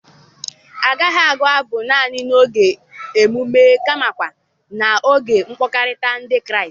Agaghị agụ abụ naanị n'oge emume kamakwa n'oge mkpakọrịta Ndị Kraịst.